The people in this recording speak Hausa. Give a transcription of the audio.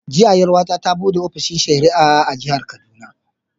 Jiya 'yar'uwa ta ta buɗe ofishin shari'a a Jihar Kaduna.